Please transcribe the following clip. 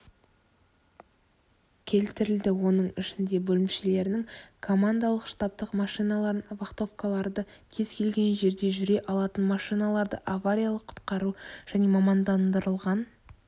келтірілді оның ішінде бөлімшелерінің командалық-штабтық машиналарын вахтовкаларды кез-келген жерде жүре алатын машиналарды авариялық-құтқару және мамандандырылған